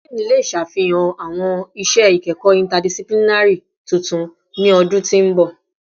Dean le ṣafihan awọn iṣẹ ikẹkọ interdisciplinary tuntun ni ọdun ti n bọ